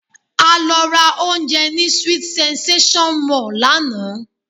A lọ ra oúnjẹ ní sweet sensation mall lánàá